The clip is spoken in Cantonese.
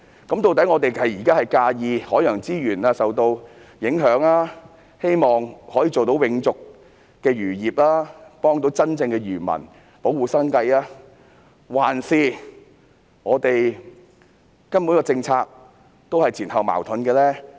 究竟我們現在是擔心海洋資源受影響，希望做到永續漁業，幫助真正的漁民，保護他們的生計，還是這項政策根本是前後矛盾呢？